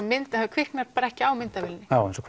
kviknar bara ekki á myndavélinni já eins og